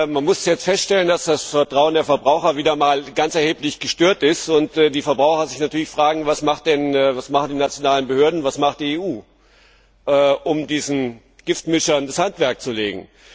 Man muss feststellen, dass das Vertrauen der Verbraucher wieder einmal ganz erheblich gestört ist und die Verbraucher sich natürlich fragen Was machen die nationalen Behörden und was macht die EU, um diesen Giftmischern das Handwerk zu legen?